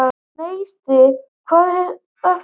Neisti, hvað er að frétta?